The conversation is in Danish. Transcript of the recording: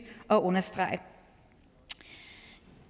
at understrege